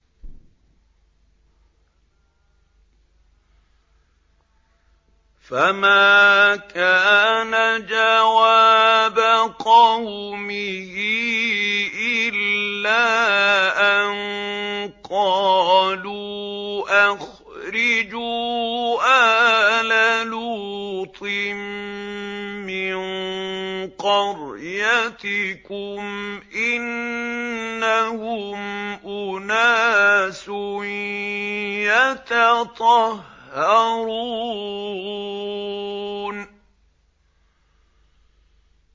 ۞ فَمَا كَانَ جَوَابَ قَوْمِهِ إِلَّا أَن قَالُوا أَخْرِجُوا آلَ لُوطٍ مِّن قَرْيَتِكُمْ ۖ إِنَّهُمْ أُنَاسٌ يَتَطَهَّرُونَ